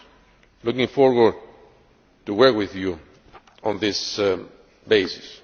I am looking forward to working with you on this basis.